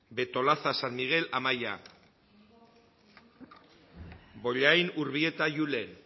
betolaza san miguel amaia bollain urbieta julen